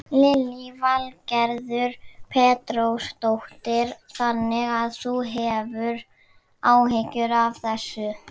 Lillý Valgerður Pétursdóttir: Þannig að þú hefur áhyggjur af þessu?